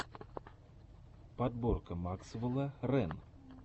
подборка максвелла рэн